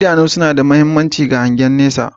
Idanu suna da mahimmanci ga hangen nesa